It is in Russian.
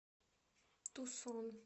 тусон